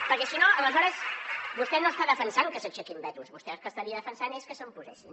perquè si no aleshores vostè no està defensant que s’aixequin vetos vostè el que estaria defensant és que se’n posessin